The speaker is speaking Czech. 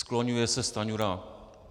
Skloňuje se Stanjura.